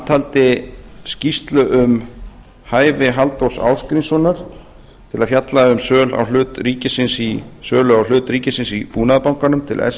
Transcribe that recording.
taldi skýrslu um hæfi halldórs ásgrímssonar til að fjalla um sölu á hlut ríkisins í búnaðarbankanum til s